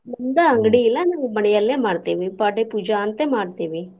ನಮ್ದ ಅಂಗಡಿ ಇಲ್ಲಾ ನಾವ್ ಮನೆಯಲ್ಲೆ ಮಾಡ್ತೇವಿ ಪಾಡ್ಯಾ ಪೂಜಾ ಅಂತ ಮಾಡ್ತೇವಿ.